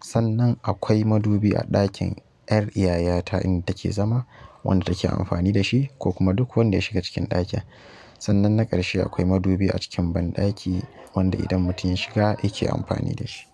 Sannan akwai madubi a ɗakin yar yayata inda take zama wanda take amfani da shi ko kuma duk wanda ya shiga cikin ɗakin. Sannan na ƙarshe akwai madubi a cikin banɗaki wanda idan mutum ya shiga yake amfani da shi.